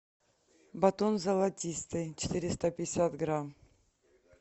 батон золотистый четыреста пятьдесят грамм